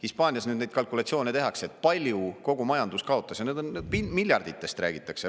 Hispaanias nüüd neid kalkulatsioone tehakse, kui palju kogu majandus kaotas, ja miljarditest räägitakse.